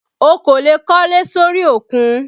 O kò lè kólé sórí òkun